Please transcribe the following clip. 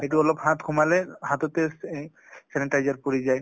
সেইটো অলপ হাত সোমালে হাততে চে sanitizer পৰি যায় ।